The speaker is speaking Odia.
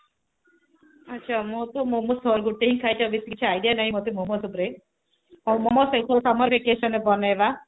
ଆଛା ମୁଁ ତ ମୋମୋ ଗୋଟେ ହିଁ ଖାଇଛି ଆଉ ବେଶୀ କିଛି idea ନହିଁ ମତେ ମୋମୋସ ଉପରେ ହାଉ ମୋମୋସ ସେଇ ସବୁ summer vacation ରେ ବନେଇବା